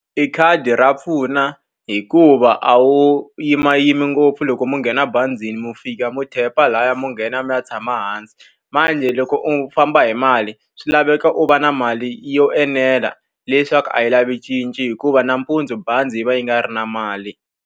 E khadi ra pfuna hikuva a wu yimayimi ngopfu loko mi nghena bazini, mi fika mi tap-a lahaya mi nghena, mi tshama hansi. Manjhe loko u famba hi mali, swi laveka u va na mali yo enela leswaku a yi lavi cinci hikuva nampundzu bazi yi va yi nga ri na mali.